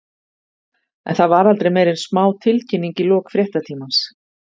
En það var aldrei meira en smá tilkynning í lok fréttatímans.